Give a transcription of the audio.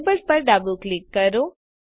Enabledપર ડાબું ક્લિક કરો